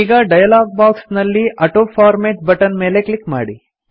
ಈಗ dialog box ನಲ್ಲಿ autoformat button ಮೇಲೆ ಕ್ಲಿಕ್ ಮಾಡಿ